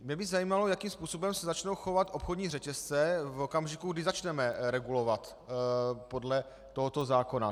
Mě by zajímalo, jakým způsobem se začnou chovat obchodní řetězce v okamžiku, kdy začneme regulovat podle tohoto zákona.